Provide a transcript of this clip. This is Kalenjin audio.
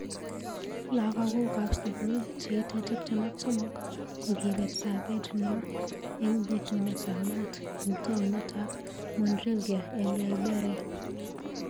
Lakakok ab sukul cheitei tip tem ak somok kokibet sabet nwa eng bitunet ab maat eng taonit ab Monrivia eng Liberia.